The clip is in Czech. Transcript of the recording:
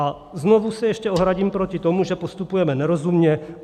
A znovu se ještě ohradím proti tomu, že postupujeme nerozumně.